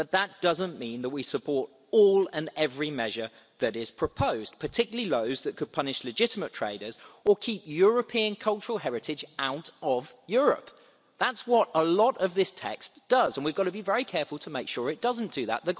But that doesn't mean that we support all and every measure that is proposed, particularly those that could punish legitimate traders or keep European cultural heritage out of Europe. That's what a lot of this text does, and we've got to be very careful to make sure it doesn't do that.